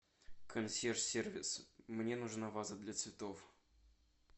консьерж сервис мне нужна ваза для цветов